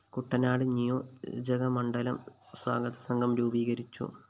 കുട്ടനാട് നിയോജകമണ്ഡലം സ്വാഗതസംഘം രൂപീകരിച്ചു